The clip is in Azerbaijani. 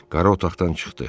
Qarı otaqdan çıxdı.